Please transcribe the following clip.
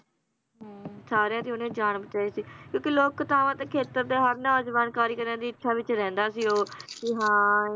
ਹਮ ਸਾਰਿਆਂ ਦੀ ਓਹਨੇ ਜਾਨ ਬਚਾਈ ਸੀ ਕਿਉਂਕਿ ਲੋਕ ਕਥਾਵਾਂ ਦੇ ਖੇਤਰ ਤੇ ਹਰ ਨੌਜਵਾਨ ਕਾਰੀਗਰਾਂ ਦੀ ਇੱਛਾ ਵਿਚ ਰਹਿੰਦਾ ਸੀ ਉਹ ਵੀ ਹਾਂ